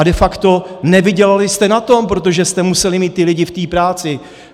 A de facto nevydělali jste na tom, protože jste museli mít ty lidi v té práci.